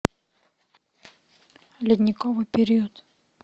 ледниковый период